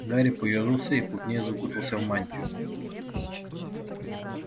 гарри поёжился и плотнее закутался в мантию